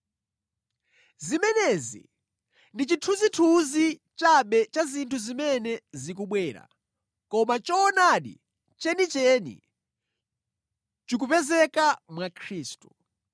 Zimenezi ndi chithunzithunzi chabe cha zinthu zimene zikubwera, koma choonadi chenicheni chikupezeka mwa Khristu.